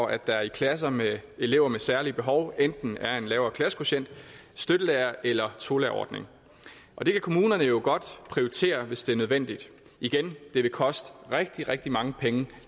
at der i klasser med elever med særlige behov enten er en lavere klassekvotient støttelærere eller tolærerordning og det kan kommunerne jo godt prioritere hvis det er nødvendigt igen det vil koste rigtig rigtig mange penge